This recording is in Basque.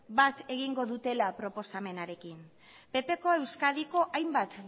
bat egingo dutela proposamenarekin ppko euskadiko hainbat